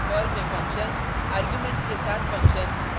arguments के साथ functions और